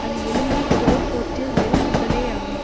அது எலும்பைத் தோல் போர்த்திய வெறும் உடலேயாகும்